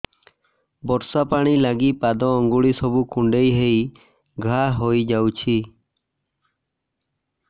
ବର୍ଷା ପାଣି ଲାଗି ପାଦ ଅଙ୍ଗୁଳି ସବୁ କୁଣ୍ଡେଇ ହେଇ ଘା ହୋଇଯାଉଛି